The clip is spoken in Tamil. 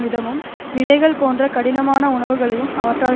விதமும் விதைகள் போன்ற கடினமான உணவுகளையும் அவற்றால்